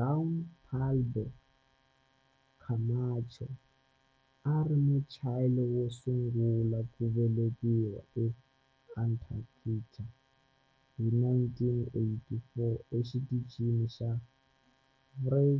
Juan Pablo Camacho a a ri Muchile wo sungula ku velekiwa eAntarctica hi 1984 eXitichini xa Frei